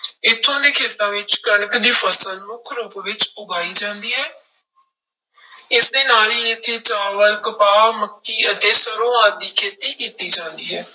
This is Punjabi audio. ਇੱਥੋਂ ਦੇ ਖੇਤਾਂ ਵਿੱਚ ਕਣਕ ਦੀ ਫਸਲ ਮੁੱਖ ਰੂਪ ਵਿੱਚ ਉਗਾਈ ਜਾਂਦੀ ਹੈ ਇਸਦੇ ਨਾਲ ਹੀ ਇੱਥੇ ਚਾਵਲ, ਕਪਾਹ, ਮੱਕੀ ਅਤੇ ਸਰੋਂ ਆਦਿ ਦੀ ਖੇਤੀ ਕੀਤੀ ਜਾਂਦੀ ਹੈ।